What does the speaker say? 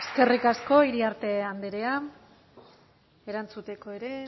eskerrik asko iriarte andrea erantzuteko ere